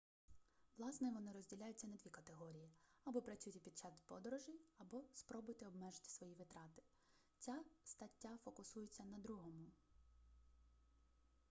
власне вони розділяються на дві категорії або працюйте під час подорожей або спробуйте обмежити свої витрати ця стаття фокусується на другому